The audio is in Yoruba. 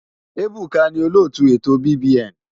Ebuka ni olóòtú ètò BBN.